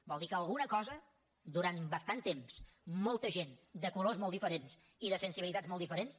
vol dir que alguna cosa durant bastant temps molta gent de colors molt diferents i de sensibilitats molt diferents